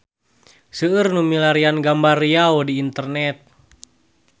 Seueur nu milarian gambar Riau di internet